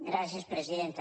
gràcies presidenta